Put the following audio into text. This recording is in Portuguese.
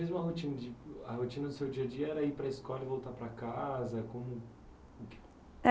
Mesmo a rotina de a rotina do seu dia a dia era ir para a escola e voltar para casa, como que